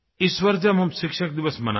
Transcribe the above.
इस बार जब हम शिक्षक दिवस मनाएँ